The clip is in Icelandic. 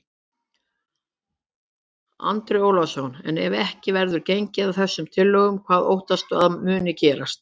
Andri Ólafsson: En ef ekki verður gengið að þessum tillögum, hvað óttastu að muni gerast?